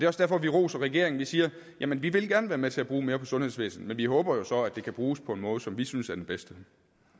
også derfor vi roser regeringen vi siger vi vil gerne være med til at bruge mere på sundhedsvæsenet men vi håber jo så at det kan bruges på en måde som vi synes er den bedste